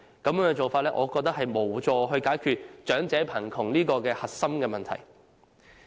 我認為這種做法無助解決長者貧窮這核心問題。